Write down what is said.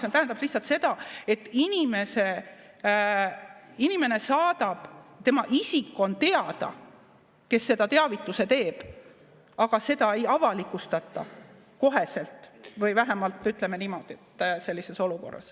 See tähendab lihtsalt seda, et isik on teada, kes selle teavituse teeb, aga seda ei avalikustata koheselt või vähemalt, ütleme niimoodi, sellises olukorras.